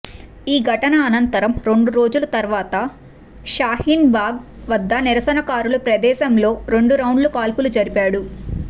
ఈ ఘటన అనంతరం రెండు రోజుల తర్వాత షాహిన్బాగ్ వద్ద నిరసనకారుల ప్రదేశంలో రెండు రౌండ్ల కాల్పులు జరిపాడు